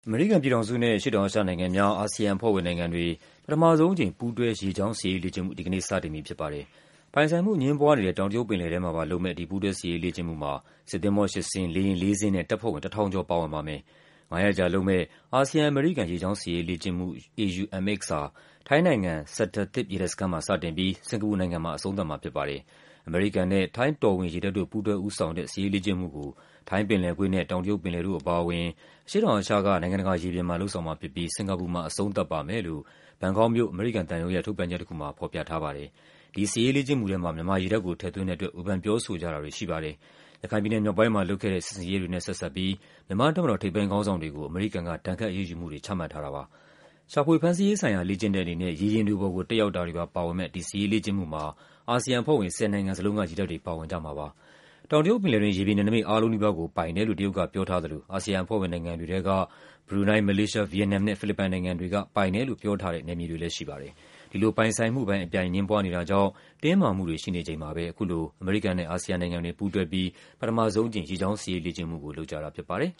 အမေရိကန်ပြည်ထောင်စုနဲ့ အရှေ့တောင်အာရှနိုင်ငံများ ASEAN အဖွဲ့ဝင်နိုင်ငံတွေ ပထမဆုံးအကြိမ် ပူးတွဲ ရေကြောင်း စစ်ရေး လေ့ကျင့်မှု ဒီကနေ့စတင်ပြီဖြစ်ပါတယ်။ ပိုင်ဆိုင်မှုအငြင်းပွားနေတဲ့ တောင်တရုတ်ပင်လယ်ထဲမှာပါလုပ်မယ့် ဒီပူးတွဲစစ်ရေး လေ့ကျင့်မှုမှာ စစ်သင်္ဘော ၈ စင်း၊ လေယာဉ် ၄ စင်းနဲ့ တပ်ဖွဲ့ဝင် ၁,၀၀၀ ကျော် ပါဝင်ပါမယ်။ ၅ ရက်ကြာလုပ်မယ့် အာဆီယံ-အမေရိကန် ရေကြောင်း စစ်ရေးလေ့ကျင့်မှု (AUMX) ဟာ ထိုင်းနိုင်ငံ၊ Sattahip ရေတပ်စခန်းမှာ စတင်ပြီး စင်္ကာပူနိုင်ငံမှာ အဆုံးသတ်မှာဖြစ်ပါတယ်။ အမေရိကန်နဲ့ ထိုင်း တော်ဝင် ရေတပ်တို့ ပူးတွဲဦးဆောင်တဲ့ စစ်ရေးလေ့ကျင့်မှုကို ထိုင်းပင်လယ်ကွေ့နဲ့ တောင်တရုတ်ပင်လယ်တို့ အပါအဝင် အရှေ့တောင်အာရှက နိုင်ငံတကာရေပြင်မှာ လုပ်ဆောင်မှာဖြစ်ပြီး စင်္ကာပူမှာ အဆုံးသတ်ပါမယ်လို့ ဘန်ကောက်မြို့၊ အမေရိကန်သံရုံးရဲ့ ထုတ်ပြန်ချက်တခုမှာ ဖော်ပြထားပါတယ်။ ဒီစစ်ရေးလေ့ကျင့်မှုထဲမှာ မြန်မာရေတပ်ကို ထည့်သွင်းတဲ့အတွက် ဝေဖန် ပြောဆိုကြတာတွေရှိပါတယ်။ ရခိုင်ပြည်နယ် မြောက်ပိုင်းမှာလုပ်ခဲ့တဲ့ စစ်ဆင်ရေးတွေနဲ့ ဆက်စပ်ပြီး မြန်မာ့တပ်မတော် ထိပ်ပိုင်းခေါင်းဆောင်တွေကို အမေရိကန်က ဒဏ်ခတ် အရေးယူမှုတွေ ချမှတ်ထားတာရှိပါတယ်။ ရှာဖွေ ဖမ်းဆီးရေးဆိုင်ရာ လေ့ကျင့်တဲ့အနေနဲ့ ရေယာဉ်တွေပေါ်ကို တက်ရောက်တာတွေပါ ပါဝင်မယ့် ဒီ စစ်ရေးလေ့ကျင့်မှုမှာ အာဆီယံအဖွဲ့ဝင် ၁၀ နိုင်ငံစလုံးက ရေတပ်တွေ ပါဝင်ကြမှာပါ။ တောင်တရုတ်ပင်လယ်တွင်း ရေပြင်နယ်နိမိတ်အားလုံးနီးပါးကို ပိုင်တယ်လို့ တရုတ်ကပြောထားသလို အာဆီယံအဖွဲ့ဝင်နိုင်ငံတွေ ထဲက ဘရူနိုင်း၊ မလေးရှား၊ ဗီယက်နမ်နဲ့ ဖိလစ်ပိုင်နိုင်ငံတွေက ပိုင်တယ်လို့ပြောထားတဲ့ နယ်မြေတွေလည်းရှိပါတယ်။ ဒီလို ပိုင်ဆိုင်မှုပိုင်း အပြိုင် အငြင်းပွားနေတာကြောင့် တင်းမာမှုတွေ ရှိနေချိန်မှာပဲ အခုလို အမေရိကန်နဲ့ အာဆီယံနိုင်ငံတွေ ပူးတွဲပြီး ပထမဆုံးအကြိမ် ရေကြောင်း စစ်ရေးလေ့ကျင့်မှုကို လုပ်ကြတာဖြစ်ပါတယ်